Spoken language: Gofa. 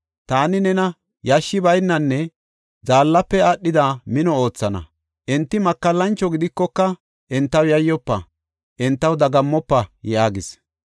Taani nena yashshi baynanne zaallafe aadhida mino oothana. Enti makallancho gidikoka, entaw yayyofa; entaw dagammofa” yaagis.